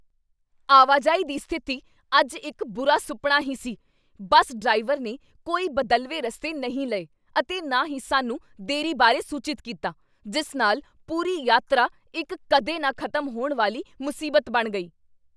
ਆਵਾਜਾਈ ਦੀ ਸਥਿਤੀ ਅੱਜ ਇੱਕ ਬੁਰਾ ਸੁਪਨਾ ਹੀ ਸੀ। ਬੱਸ ਡਰਾਈਵਰ ਨੇ ਕੋਈ ਬਦਲਵੇਂ ਰਸਤੇ ਨਹੀਂ ਲਏ ਅਤੇ ਨਾ ਹੀ ਸਾਨੂੰ ਦੇਰੀ ਬਾਰੇ ਸੂਚਿਤ ਕੀਤਾ, ਜਿਸ ਨਾਲ ਪੂਰੀ ਯਾਤਰਾ ਇੱਕ ਕਦੇ ਨਾ ਖ਼ਤਮ ਹੋਣ ਵਾਲੀ ਮੁਸੀਬਤ ਬਣ ਗਈ!